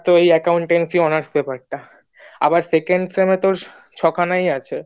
আর তো ওই accountancy honours paper টা আবার second sem তোর ছখানায় আছে